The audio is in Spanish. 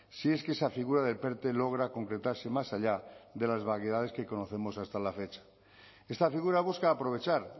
si es que esa figura del perte logra concretarse más allá de las vaguedades que conocemos hasta la fecha esta figura busca aprovechar